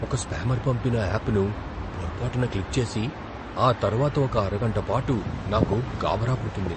ఒక స్పామర్ పంపిన యాప్ను పొరపాటున క్లిక్ చేసి, ఆ తర్వాత ఒక అరగంట పాటు నాకు గాభరా పుట్టింది.